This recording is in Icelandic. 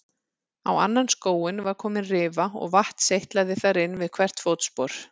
Á annan skóinn var komin rifa og vatn seytlaði þar inn við hvert fótspor.